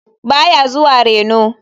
Ba ya zuwa reno.